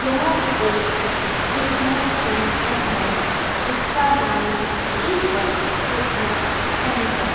यह एक fitness centre है जिसका नाम है ए-वन फिटनेस सेंटर --